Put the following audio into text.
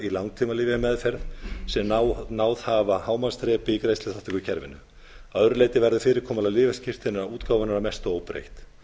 í langtímalyfjameðferð sem náð hafa hámarksþrepi í greiðsluþátttökukerfinu að öðru leyti verður fyrirkomulag lyfjaskírteinaútgáfunnar að mestu óbreytt